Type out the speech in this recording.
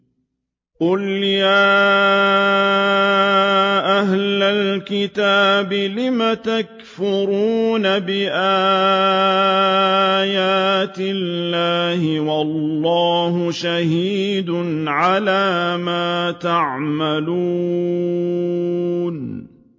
قُلْ يَا أَهْلَ الْكِتَابِ لِمَ تَكْفُرُونَ بِآيَاتِ اللَّهِ وَاللَّهُ شَهِيدٌ عَلَىٰ مَا تَعْمَلُونَ